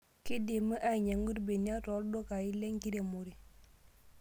Keidimi anyiang'u irbenia tooldukai lenkiremore.